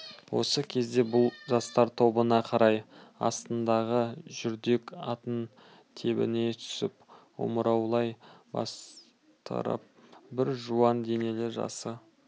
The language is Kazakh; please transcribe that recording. осы кезде бұл жастар тобына қарай астындағы жүрдек атын тебіне түсіп омыраулай бастырып бір жуан денелі жасы